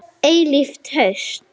Eilíft haust.